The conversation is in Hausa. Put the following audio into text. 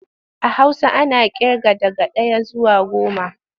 A Hausa ana ƙirga daga ɗaya zuwa goma.